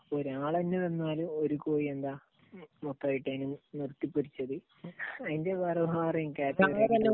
ഒരാൾ തന്നെ വന്നാൽ ഒരു കോഴി എന്താ, മൊത്തമായിട്ട് നിർത്തിപ്പൊരിച്ചത്, അതിന്റെ വേറെ വേറെയും ക്യാറ്റഗറി